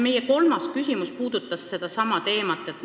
Meie kolmas küsimus puudutaski seda teemat.